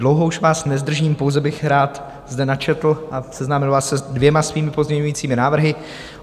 Dlouho už vás nezdržím, pouze bych rád zde načetl a seznámil vás se dvěma svými pozměňovacími návrhy.